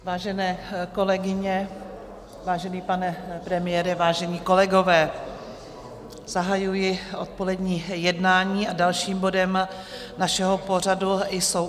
Vážené kolegyně, vážený pane premiére, vážení kolegové, zahajuji odpolední jednání a dalším bodem našeho pořadu jsou